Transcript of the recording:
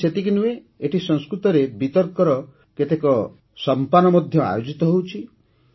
ଖାଲି ସେତିକି ନୁହେଁ ଏଠି ସଂସ୍କୃତରେ ବିତର୍କର କେତେକ ସଂପାନ ମଧ୍ୟ ଆୟୋଜିତ ହେଉଛି